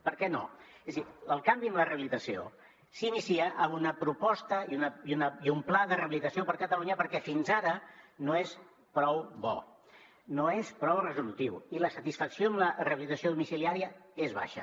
per què no és a dir el canvi en la rehabilitació s’inicia amb una proposta i un pla de rehabilitació per a catalunya perquè fins ara no és prou bo no és prou resolutiu i la satisfacció amb la rehabilitació domiciliària és baixa